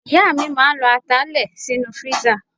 Ìyá mi máa ń lọ ata lè sínú freezer.